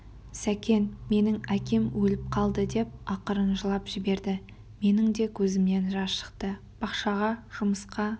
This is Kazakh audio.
сәкен менің әкем өліп қалды деп ақырын жылап жіберді менің де көзімнен жас шықты бақшаға жұмысқа